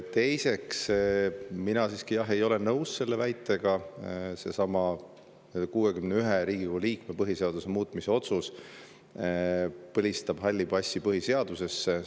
Teiseks, mina siiski, jah, ei ole nõus selle väitega, nagu see 61 Riigikogu liikme otsus põhiseaduse muutmise kohta põlistaks halli passi põhiseadusesse.